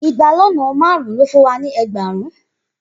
igba lọnà márún lo fún wa ni ẹẹgbarun.